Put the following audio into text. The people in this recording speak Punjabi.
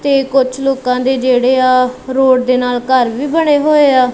ਤੇ ਕੁਛ ਲੋਕਾਂ ਦੇ ਜਿਹੜੇ ਆ ਰੋਡ ਦੇ ਨਾਲ ਘਰ ਵੀ ਬਣੇ ਹੋਏ ਆ।